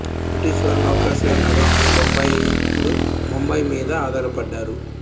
British వారు నౌకాశ్రయ నగరం అయిన బొంబాయి ఇప్పుడు ముంబైమిద ఆధారపడ్డారు